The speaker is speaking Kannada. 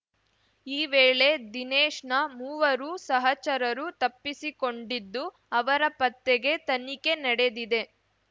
ಈ ವೇಳೆ ದಿನೇಶ್‌ನ ಮೂವರು ಸಹಚರರು ತಪ್ಪಿಸಿಕೊಂಡಿದ್ದು ಅವರ ಪತ್ತೆಗೆ ತನಿಖೆ ನಡೆದಿದೆ